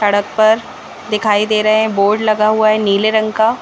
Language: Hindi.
सड़क पर दिखाई दे रहे हैं बोर्ड लगा हुआ है नीले रंग का